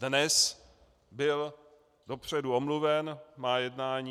Dnes byl dopředu omluven, má jednání.